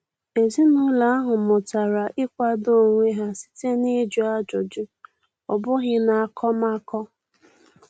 Ezinụlọ ahụ mụtara ịkwado onwe ha site na-ịjụ ajụjụ, ọ bụghị n'akọmakọ.